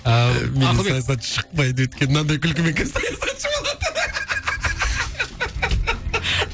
ааа менен саясатшы шықпайды өйткені мынадай күлкімен кім саясатшы болады